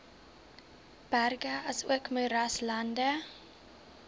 berge asook moeraslande